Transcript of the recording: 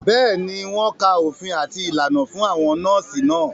Bẹ́ẹ̀ni, wọ́n ka òfin àti ìlànà fún àwọn nọ́ọ̀sì náà